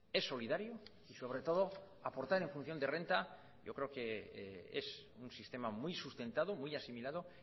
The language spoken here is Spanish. es solidario y sobre todo aportar en función de renta yo creo que es un sistema muy sustentado muy asimilado